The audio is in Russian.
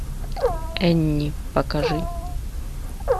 энни покажи